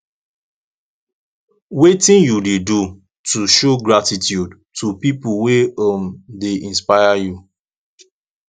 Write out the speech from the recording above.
wetin you dey do to show gratitude to people wey um dey inspire you